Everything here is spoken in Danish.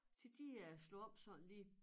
Til de øh slog om sådan lige